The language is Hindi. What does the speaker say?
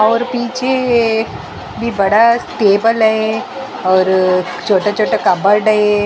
और पीछे भी बड़ा टेबल है और छोटा छोटा कबर्ड है।